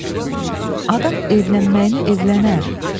Adam evlənməyinə evlənər.